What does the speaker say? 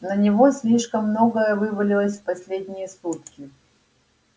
на него слишком многое вывалилось в последние сутки